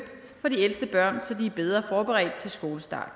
for de ældste børn så de er bedre forberedt til skolestart